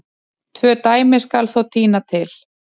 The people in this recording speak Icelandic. Tvö dæmi skal þó tína til.